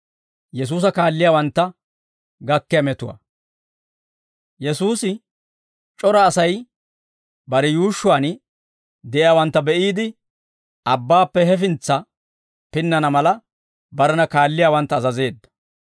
Yesuusi c'ora Asay bare yuushshuwaan de'iyaawantta be'iide, abbaappe hefintsa pinnana mala, barena kaalliyaawantta azazeedda.